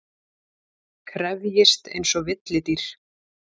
Krefjist einsog villidýr.